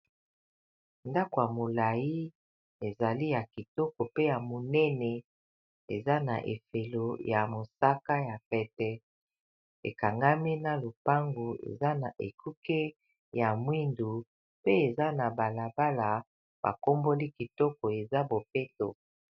Lopango monene libanda eza na ndako ya etage na kati. Eza na langi ya mosaka na langi ya mwindu. Liboso na balabala eza bongo na mituka mubale etelemi.